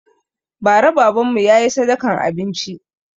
Ba ra baban mu ya yi sadakan abinci